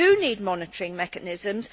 we need monitoring mechanisms.